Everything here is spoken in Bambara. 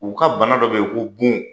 U ka bana dɔ bɛ yen ko bon,